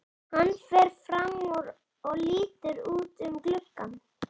Hann fer fram úr og lítur út um gluggann.